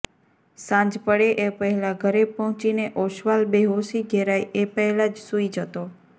સાંજ પડે એ પહેલાં ઘરે પહોંચીને ઑસ્વાલ બેહોશી ઘેરાય એ પહેલાં જ સૂઈ જતો